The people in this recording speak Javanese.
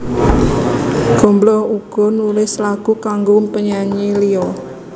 Gombloh uga nulis lagu kanggo penyanyi liya